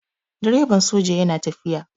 Direban soja yana tafiya.